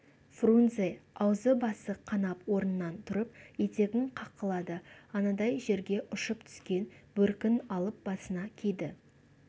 фрунзе аузы-басы қанап орнынан тұрып етегін қаққылады анадай жерге ұшып түскен бөркін алып басына киді